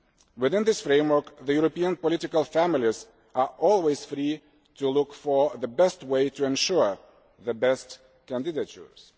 Within this framework the European political families are always free to look for the best way to ensure the best candidatures.